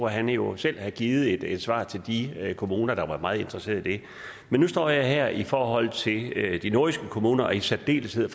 han jo selv har givet et svar til de kommuner der var meget interesseret i det men nu står jeg her i forhold til de nordjyske kommuner og i særdeleshed